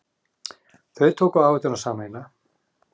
Þau tóku áhættuna sameiginlega.